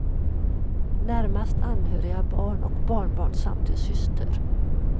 Närmast anhöriga är barn och barnbarn samt en syster.